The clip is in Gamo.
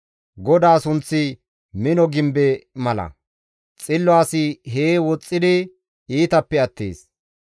GODAA sunththi mino gimbe mala; xillo asi hee woxxidi iitappe attees.